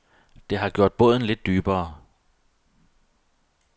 Det har gjort båden lidt dybere.